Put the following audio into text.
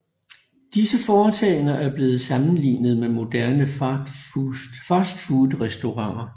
Disse foretagender er blevet sammenlignet med moderne fastfoodrestauranter